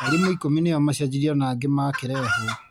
Arimũ ikũmi nĩo macenjirio na angĩ makĩrehwo.